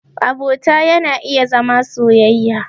Abota yana iya zama soyayya.